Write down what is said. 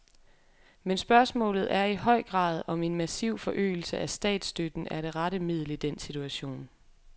Men spørgsmålet er i høj grad, om en massiv forøgelse af statsstøtten er det rette middel i den situation.